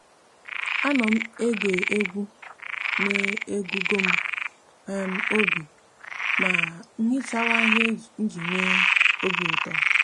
a no m ege egwu n'agugom um obi ma nhichawa ihe iji nwe obiuto